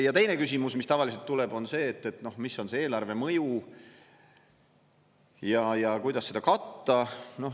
Ja teine küsimus, mis tavaliselt tuleb, on see, et mis on see eelarve mõju ja kuidas seda katta.